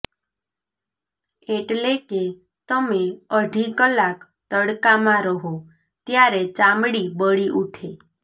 એટલે કે તમે અઢી કલાક તડકામાં રહો ત્યારે ચામડી બળી ઊઠે